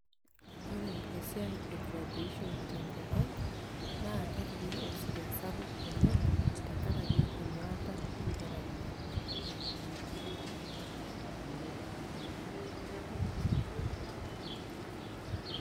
ore eisiai e graduation te nkop ang',naa kepiki osirua sapuk oleng'.tenkaraki enyuaata enkerai.